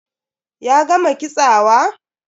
Ya gama kitsawa?